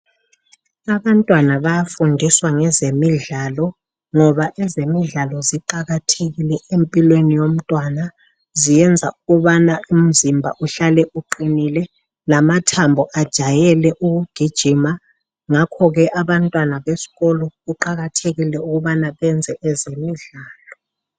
Abantwana bayafundiswa ngezemidlalo ngoba ezemidlalo ziqakathekile empilweni yomntwana. Ziyenza ukubana umzimba uhlale uqinile lamathambo ajayele ukugijima .Ngakho ke abantwana besikolo kuqakathekile ukubana benze ezemidlalo.